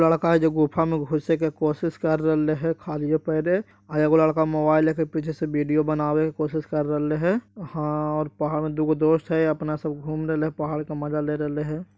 लड़का है जो गुफा में घुसे की कोशिश कर रहले है खारिये पैरे एगो लडका मोबाइल लेके पीछे से वीडियो बनावे की कोसिस (कोशिश ) कर रहले हैं हां और पहाड़ में दुगो दोस्त हैं ये अपना सब घूम रहिले हैं पहाड़ का मजा ले रहिले हैं।